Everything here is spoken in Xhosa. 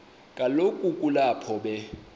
kaloku kulapho be